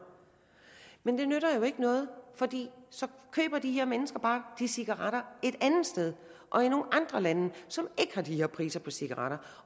men det nytter jo ikke noget fordi så køber de her mennesker bare de cigaretter et andet sted og i nogle andre lande som ikke har de her priser på cigaretter